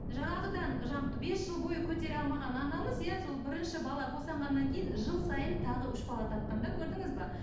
жаңағыдан жаңа бес жыл бойы көтере алмаған анамыз иә сол бірінші бала босанғаннан кейін жыл сайын тағы үш бала тапқан да көрдіңіз бе